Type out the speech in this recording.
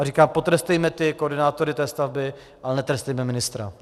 A říkám, potrestejme ty koordinátory té stavby, ale netrestejme ministra.